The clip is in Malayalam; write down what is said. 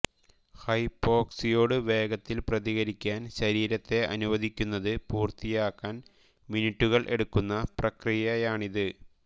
ഹൈപ്പോക്സിയയോട് വേഗത്തിൽ പ്രതികരിക്കാൻ ശരീരത്തെ അനുവദിക്കുന്നത് പൂർത്തിയാക്കാൻ മിനിറ്റുകൾ എടുക്കുന്ന പ്രക്രിയയാണിത്